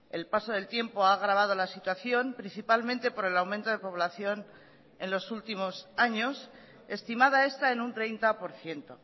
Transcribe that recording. el paso del tiempo ha agravado la situación principalmente por el aumento de población en los últimos años estimada está en un treinta por ciento